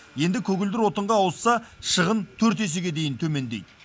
енді көгілдір отынға ауысса шығын төрт есеге дейін төмендейді